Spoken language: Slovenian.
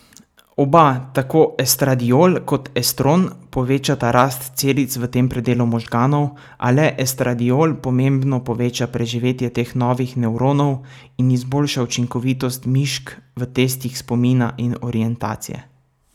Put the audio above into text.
Oba, tako estradiol kot estron povečata rast celic v tem predelu možganov, a le estradiol pomembno poveča preživetje teh novih nevronov in izboljša učinkovitost mišk v testih spomina in orientacije.